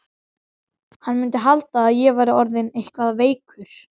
Hann mundi halda að ég væri orðinn eitthvað veikur.